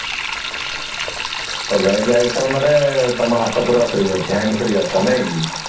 ତ Veg item ରେ ତମ ହାତ ପୁରା free ଅଛି hand free ଅଛ ନାଇଁ କି